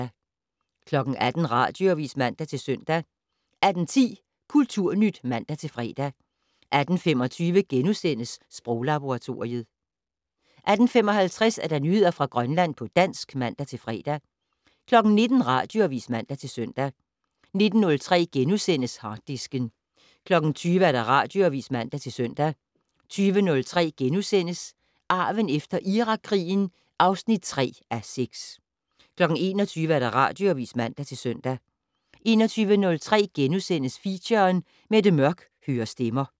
18:00: Radioavis (man-søn) 18:10: Kulturnyt (man-fre) 18:25: Sproglaboratoriet * 18:55: Nyheder fra Grønland på dansk (man-fre) 19:00: Radioavis (man-søn) 19:03: Harddisken * 20:00: Radioavis (man-søn) 20:03: Arven efter Irakkrigen (3:6)* 21:00: Radioavis (man-søn) 21:03: Feature: Mette Mørch hører stemmer *